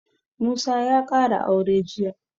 Musa ya ƙara aure jiya